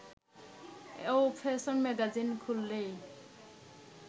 ও fashion magazine খুললেই